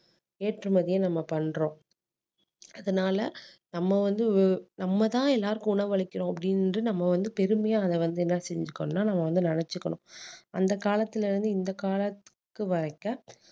ஏற்றுமதிய நம்ம பண்றோம் அதனால நம்ம வந்து நம்ம தான் எல்லாருக்கும் உணவளிக்குறோம் அப்டின்னு நம்ம வந்து பெருமையா அதை வந்து என்ன செஞ்சிருக்கணும்னா நம்ம வந்து நினைச்சிக்கணும் அந்த காலத்துல இருந்து இந்தக் காலத்துக்கு வரைக்க